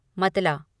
मतला